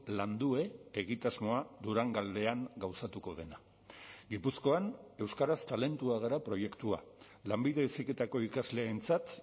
landue egitasmoa durangaldean gauzatuko dena gipuzkoan euskaraz talentua gara proiektua lanbide heziketako ikasleentzat